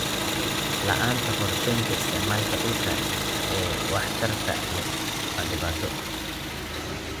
La'aanta qorshaynta isticmaalka dhulka ee waxtarka leh waa dhibaato.